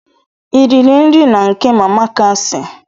Ị riri nri na nke mama kasi?